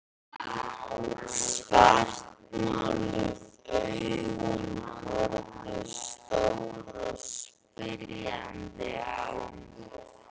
Svartmáluð augun horfðu stór og spyrjandi á mig.